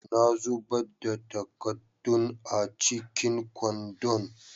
Na zubar da takaddun a cikin kwandon.